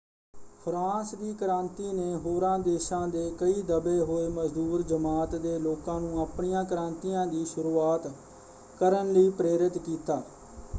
France ਦੀ ਕ੍ਰਾਂਤੀ ਨੇ ਹੋਰਾਂ ਦੇਸ਼ਾਂ ਦੇ ਕਈ ਦਬੇ ਹੋਏ ਮਜ਼ਦੂਰ ਜਮਾਤ ਦੇ ਲੋਕਾਂ ਨੂੰ ਆਪਣੀਆਂ ਕ੍ਰਾਂਤੀਆਂ ਦੀ ਸ਼ੁਰੂਆਤ ਕਰਨ ਲਈ ਪ੍ਰੇਰਿਤ ਕੀਤਾ।